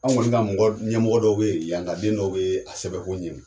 Anw kɔni ka mɔgɔ ɲɛmɔgɔ dɔw ye, yankaden dɔw bɛ a sɛbɛn ko ɲini.